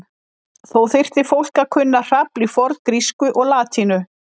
Þó þyrfti fólk að kunna hrafl í forngrísku og latínu.